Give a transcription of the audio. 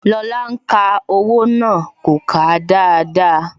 Lóla ń ka owó náà. kò kà á dáadáa